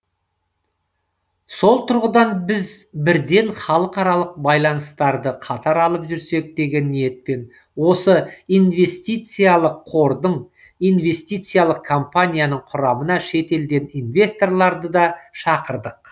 сол тұрғыдан біз бірден халықаралық байланыстарды қатар алып жүрсек деген ниетпен осы инвестициялық қордың инвестициялық компанияның құрамына шетелден инвесторларды да шақырдық